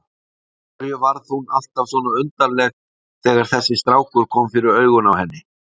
Af hverju varð hún alltaf svona undarleg þegar þessi strákur kom fyrir augun á henni?